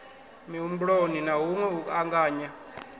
mihumbuloni na hunwe u anganya